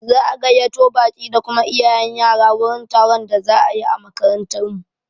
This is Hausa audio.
Za'a gayyato baƙi da kuma iyayen yara wurin taron da za'a yi a makarantar mu.